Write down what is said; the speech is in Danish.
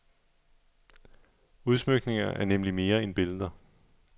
Udsmykninger er nemlig mere end billeder.